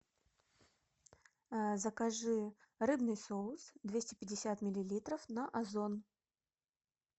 закажи рыбный соус двести пятьдесят миллилитров на озон